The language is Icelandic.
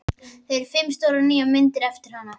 Þar eru fimm stórar nýjar myndir eftir hana.